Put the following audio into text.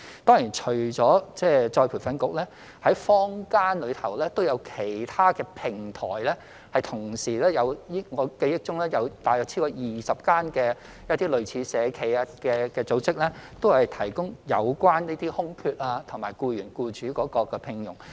當然，除了僱員再培訓局，坊間亦有其他平台，我記憶中有大約超過20間社企的類似組織，都是提供這些空缺及供僱主聘用僱員。